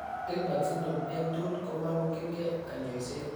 Gilbert syndrome eng' tugul komamokyinkee kanyoiset